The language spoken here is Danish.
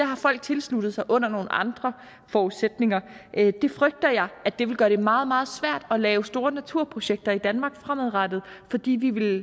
har folk tilsluttet sig under nogle andre forudsætninger jeg frygter at det ville gøre det meget meget svært at lave store naturprojekter i danmark fremadrettet fordi det ville